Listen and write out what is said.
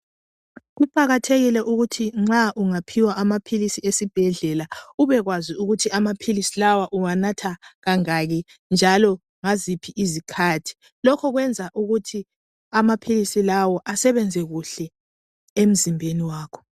Kuqakathekile Ukuthi nxa ungaphiwa amaphilisi esibhedlela ubekwazi ukuthi amaphilisi lawa uwanatha kangaki njalo ngaziphi izikhathi lokhu kwenza ukuthi amaphilisi lawa asebenze kuhle emzimbeni wakho